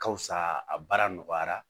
Ka fisa a baara nɔgɔyara